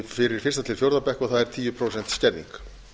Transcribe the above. fyrir fyrstu til fjórða bekk það er tíu prósent skerðing